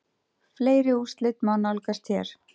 Fleiri úrslit má nálgast hér